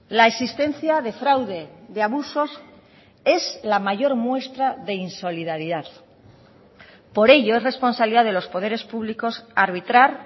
la existencia de fraude de abusos es la mayor muestra de insolidaridad por ello es responsabilidad de los poderes públicos arbitrar